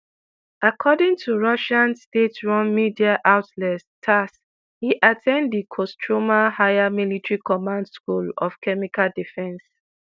according to russian state run media outlet tass e at ten d di kostroma higher military command school of chemical defence